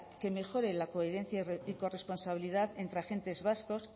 que mejore la coherencia y corresponsabilidad entre agentes vascos